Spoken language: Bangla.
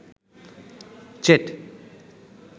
চেট